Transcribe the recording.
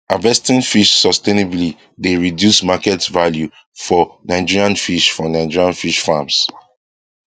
harvesting fish sustainably dey reduce market value for nigerian fish for nigerian fish farms